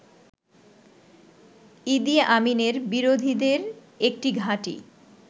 ইদি আমিনের বিরোধীদের একটি ঘাঁটি